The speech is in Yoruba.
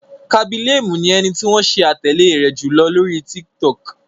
Khaby Lame ni ẹni tí wọ́n ṣe atẹle rẹ̀ jùlọ lóri TikTok.